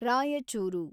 Raichur